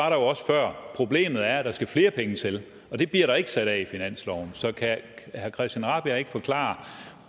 jo også før problemet er at der skal flere penge til og det bliver der ikke sat af i finansloven så kan herre christian rabjerg madsen ikke forklare